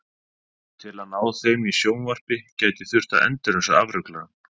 Til að ná þeim í sjónvarpi gæti þurft að endurræsa afruglarann.